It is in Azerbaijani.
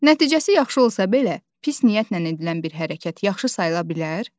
Nəticəsi yaxşı olsa belə, pis niyyətlə edilən bir hərəkət yaxşı sayıla bilər?